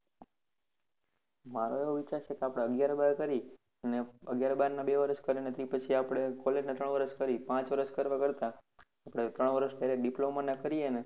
મારો એવો વિચાર છે કે આપને આગિયાર બાર કરી, આગિયાર બાર નાં બે વર્ષ કરીને તી પછી આપને college ના ચાર વર્ષ કરી પાંચ વર્ષ કરવા કરતા, આપને ત્રણ વર્ષ diploma નાં કરીએને